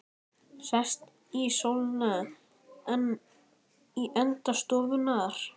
Sest í stólinn sinn í enda stofunnar.